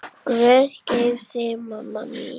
Guð geymi þig, mamma mín.